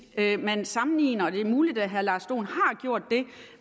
man sammenligner og det er muligt at herre lars dohn har gjort det